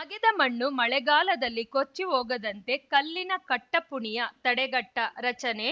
ಅಗೆದ ಮಣ್ಣು ಮಳೆಗಾಲದಲ್ಲಿ ಕೊಚ್ಚಿ ಹೋಗದಂತೆ ಕಲ್ಲಿನ ಕಟ್ಟಪುಣಿಯ ತಡೆಗಟ್ಟ ರಚನೆ